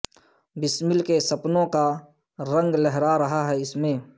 بسمل کے سپنوں کا رنگ لہرا رہا ہے اس میں